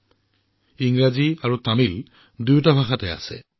ই তামিল আৰু ইংৰাজী দুয়োটা ভাষাতে আছে